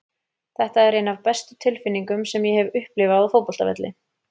Þetta er ein af bestu tilfinningum sem ég hef upplifað á fótboltavelli.